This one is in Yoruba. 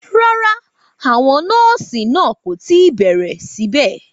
Rárá, àwọn nọ́ọ̀sì náà kò tí ì bẹ̀rẹ̀ síbẹ̀